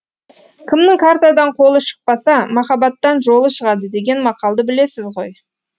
кімнің картадан қолы шықпаса махаббаттан жолы шығады деген мақалды білесіз ғой